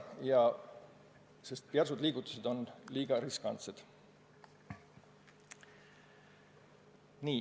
Järsud liigutused on liiga riskantsed.